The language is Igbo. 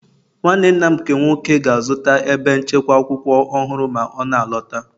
Nwanne nna m nke nwoke ga-azụta ebe nchekwa akwụkwọ ọhụrụ ma ọ na-alọta